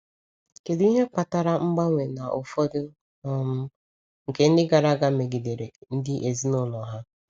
Kedu ihe kpatara mgbanwe na ụfọdụ um ndị nke gara aga megidere ndị ezinụlọ ha?